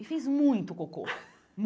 E fez muito cocô.